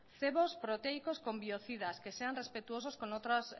cebos proteicos con biocidas que sean respetuosos con otras